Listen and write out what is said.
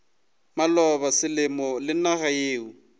maloba selemo le naga yeo